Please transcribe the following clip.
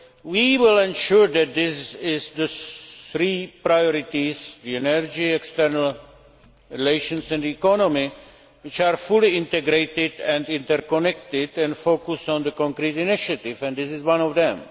We will ensure that these are the three priorities energy, external relations and the economy which are fully integrated and interconnected and focus on the concrete initiative this is one of them.